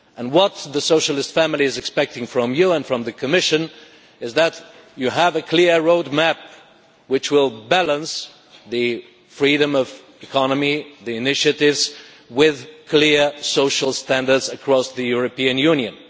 What the socialist family is expecting from you and from the Commission is for you to have a clear road map which will balance the freedom of economy and initiative with clear social standards across the European Union.